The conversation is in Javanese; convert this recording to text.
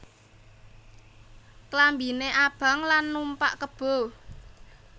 Klambiné abang lan numpak kebo